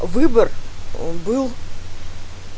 выбор он был